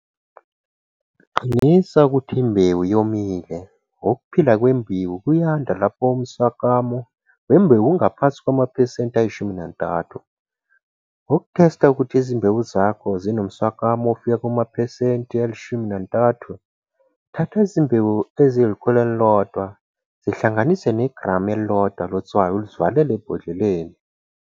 Qinisa ukuthi imbewu yomile ukuphila kwembewu kuyanda lapho umswakamo wembewu ungaphansi kwamaphesenti ayi-13. Ukuthesta ukuthi izimbewu zakho zinomswakamo ofika kumaphesenti a-13, thatha izimbewu ezingu-100, zihlanganise negramu elingu-1 lotswayi uzivalele ebhodleleni.